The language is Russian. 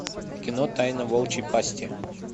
кино тайна волчьей пасти